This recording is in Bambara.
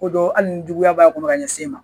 Ko don hali ni juguya'a kɔnɔ kan ɲɛsin ma.